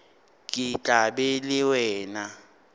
ke tla ba le wena